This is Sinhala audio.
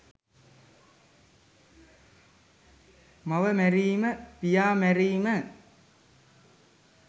මව මැරීම, පියා මැරීම